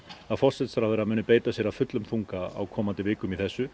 að forsætisráðherra muni beita sér af fullum þunga á komandi vikum í þessu